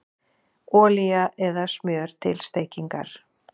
Olía eða smjör til steikingar